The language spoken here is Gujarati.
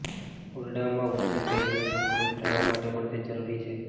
ઓરડામાં ઉચ્ચ ભેજનું જોખમ ઘટાડવા માટે પણ તે જરૂરી છે